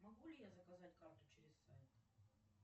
могу ли я заказать карту через сайт